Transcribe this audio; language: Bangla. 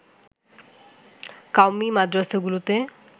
কওমী মাদ্রাসাগুলোতে